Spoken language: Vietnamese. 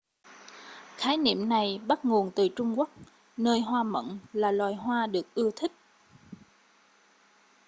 khái niệm này bắt nguồn từ trung quốc nơi hoa mận là loài hoa được ưa thích